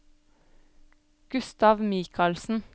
Gustav Mikalsen